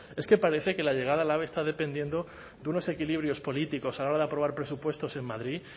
es que parece que la llegada del ave está dependiendo de unos equilibrios políticos a la hora de aprobar presupuestos en madrid